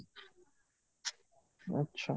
ଆଛା